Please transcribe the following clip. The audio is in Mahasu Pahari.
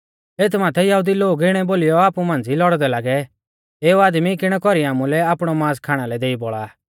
एथ माथै यहुदी लोग इणै बोलीयौ आपु मांझ़ी लौड़दै लागै एऊ आदमी किणै कौरी आमुलै आपणौ मांस खाणा लै देई बौल़ा आ